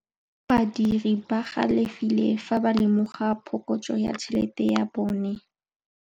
Badiri ba galefile fa ba lemoga phokotsô ya tšhelête ya bone.